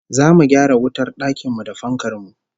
Zamu gyara wutar dakin mu da fankar mu